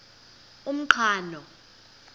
umqhano